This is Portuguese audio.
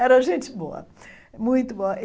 Era gente boa, muito boa.